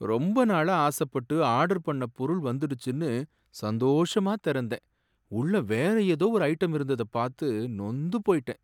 ரொம்ப நாளா ஆசப்பட்டு ஆர்டர் பண்ண பொருள் வந்துடுச்சுன்னு சந்தோஷமா திறந்தேன். உள்ள வேற ஏதோ ஒரு ஐட்டம் இருந்தத பாத்து நொந்து போயிட்டேன்.